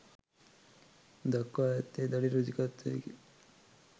දක්වා ඇත්තේ දැඩි රුචිකත්වයකි.